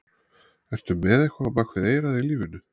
Ertu með eitthvað á bak við eyrað í lífinu?